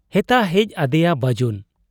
ᱦᱮᱛᱟ ᱦᱮᱡ ᱟᱫᱮᱭᱟ ᱵᱟᱹᱡᱩᱱ ᱾